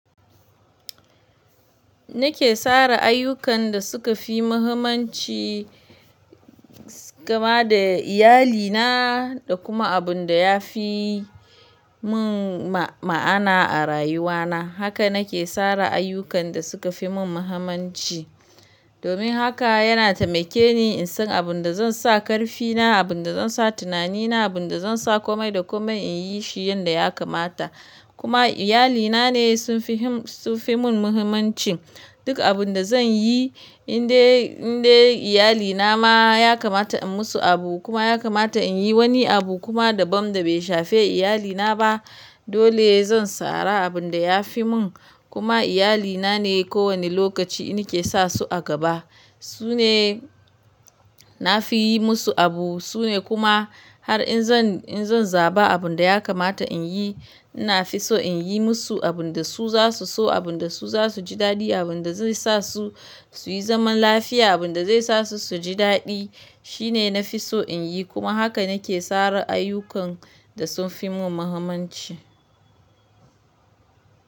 Nake tsara ayyukan da suka fi muhimmanci, kama da iyalina da kuma abun da ya fi mun ma'ana a rayuwa na. Haka nake tsara ayyukan da suka fi mun muhimmanci. Domin haka yana taimake ni in san abin da zan sa karfi na, abin da zan sa tunani na, abin da zan sa komai da komai in yi shi yanda ya kamata. Kuma iyalina ne sun fi mun muhimmancin. Duk abun da zan yi in dai, in dai iyalina ma ya kamata in musu abu kuma ya kamata in yi wani abu kuma daban da bai shafe iyalina ba, dole zan tsara abun da ya fi mun. Kuma iyalina ne kowane lokaci nake sa su a gaba. Su ne na fi yi musu abu. Su ne kuma har in zan, in zan zaba abun da ya kamata in yi, ina fi so in yi musu abun da su za su so, abun da su za su ji daɗi, abun da zai sa su su yi zaman lafiya, abun da zai sa su su ji daɗi. Shi ne na fi so in yi kuma haka nake tsara ayyukan da sun fi mun muhimmanci.